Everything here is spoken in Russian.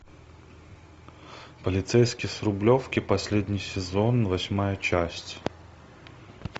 полицейский с рублевки последний сезон восьмая часть